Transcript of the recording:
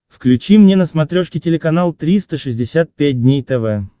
включи мне на смотрешке телеканал триста шестьдесят пять дней тв